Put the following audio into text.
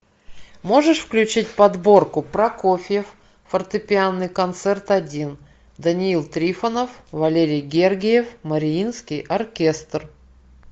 можешь включить подборку прокофьев фортепианный концерт один даниил трифонов валерий гергиев мариинский оркестр